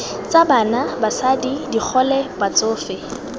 tsa bana basadi digole batsofe